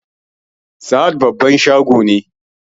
Sahad babban shago ne